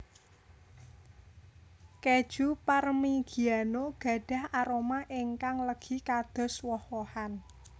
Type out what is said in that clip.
Kèju Parmigiano gadhah aroma ingkang legi kados woh wohan